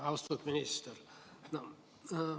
Austatud minister!